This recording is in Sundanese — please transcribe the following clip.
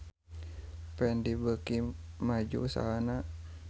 Fendi beuki maju usahana